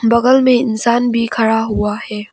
बगल में इंसान भी खड़ा हुआ है।